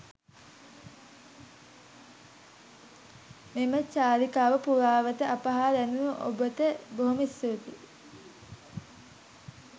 මෙම චාරිකාව පුරාවට අප හා රැඳුණු ඔබට බොහොම ස්තුතියි.